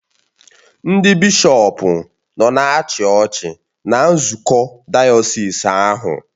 Ndị bishọpụ nọ na-achị ọchị na nzukọ dayọsis ahụ